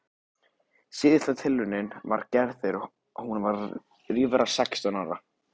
Síðasta tilraunin var gerð þegar hún var rífra sextán ára.